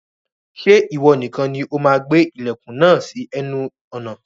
Ṣé ìwọ nìkan ni o máa gbé ilẹ̀kùn náà sí ẹnu ọ̀nà